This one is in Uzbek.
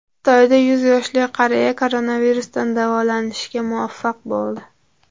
Xitoyda yuz yoshli qariya koronavirusdan davolanishga muvaffaq bo‘ldi.